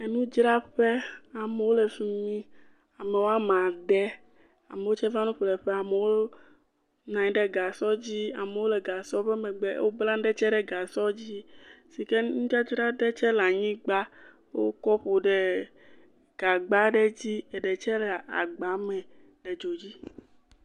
Nudzraƒe, amewo le fi mi. Amewo ade, amewo tsɛ va nu ƒleƒe, amewo nɔ anyi ɖe gasɔ dzi ye amewo le gasɔ ƒe megbe, wobla nu ɖe tsɛ ɖe gasɔa dzi si ke nudzadzra ɖe tsɛ le anyigba wokɔ kɔ ɖe gagba aɖe dzi, eɖe tsɛ le agba me le dzo dzi.